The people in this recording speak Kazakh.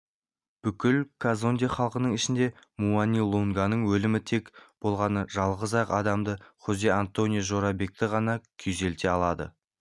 бүкіл казонде халқының ішінде муани-лунганың өлімі тек болғаны жалғыз-ақ адамды хозе-антонио жорабекті ғана күйзелте алады